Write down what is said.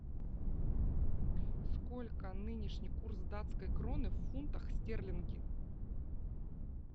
сколько нынешний курс датской кроны в фунтах стерлинги